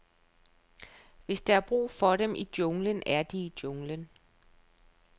Hvis der er brug for dem i junglen, er de i junglen.